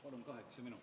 Palun kaheksa minutit.